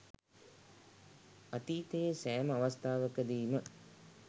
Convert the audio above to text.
අතීතයේ සෑම අවස්ථාවකදීම